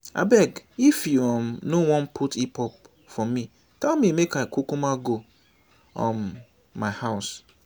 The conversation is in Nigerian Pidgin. abeg if you um no wan put hip hop for me tell me make i kukuma go um my house